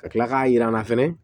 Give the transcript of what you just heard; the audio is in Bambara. Ka tila k'a yir'an na fɛnɛ